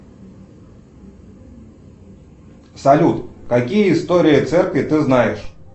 салют какие истории церкви ты знаешь